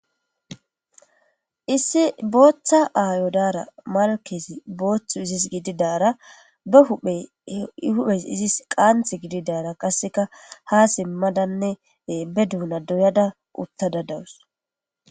Issi bota ayo dara malkezi bota izis gididara be huphe i huphe izis qanta gididara qaseka ha simadanne be dona doyada utada dawus.